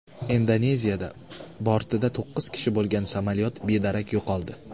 Indoneziyada bortida to‘qqiz kishi bo‘lgan samolyot bedarak yo‘qoldi.